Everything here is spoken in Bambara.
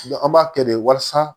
an b'a kɛ de walasa